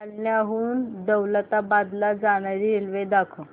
जालन्याहून दौलताबाद ला जाणारी रेल्वे दाखव